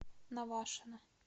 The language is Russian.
навашино